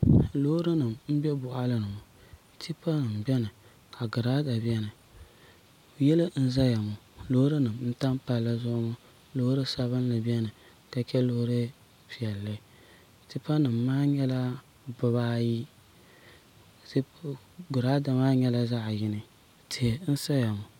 loori nim n bɛ Boɣali ni ŋo tipa nim biɛni ka girada biɛni yili n ʒɛya ŋo loori nim n tam palli zuɣu ŋo loori sabinli niɛni ka chɛ loori piɛlli tipa nim maa nyɛla bibaayi giraada maa nyɛla zaɣ yini tihi n saya ŋo